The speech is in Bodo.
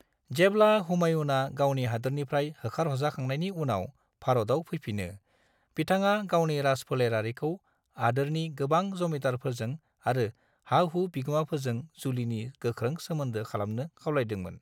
जेब्ला हुमायूनआ गावनि हादोरनिफ्राय होखारहरजाखांनायनि उनाव भारताव फैफिनो, बिथाङा गावनि राजफोलेरारिखौ हादोरनि गोबां जमीनदारफोरजों आरो हा-हु बिगोमाफोरजों जुलिनि गोख्रों सोमोन्दो खालामनो खावलायदोंमोन।